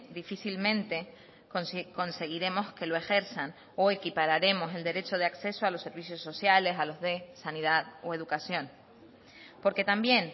difícilmente conseguiremos que lo ejerzan o equipararemos el derecho de acceso a los servicios sociales a los de sanidad o educación porque también